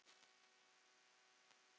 Við metum hans starf.